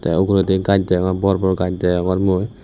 te uguredi gaj degong bor bor gaj degongor mui.